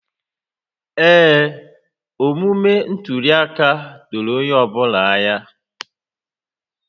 Ee, omume ntuli aka doro onye ọ bụla anya